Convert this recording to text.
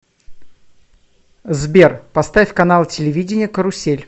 сбер поставь канал телевидения карусель